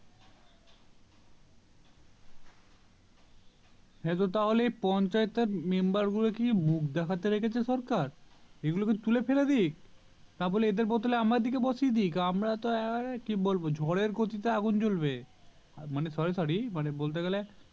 হ্যাঁ তো তাহলে পঞ্চায়েত member গুলোকে কি মুখ দেখাতে রেখেছে সরকার এগুলোকে তুলে ফেলে দিক তা বলে এদের বদলে আমাদিগকে বসিয়ে আমরা তো কি বলবো ঝড়ের গতিতে আগুন জ্বলবে আহ মানে sorry sorry মানে বলতে গেলে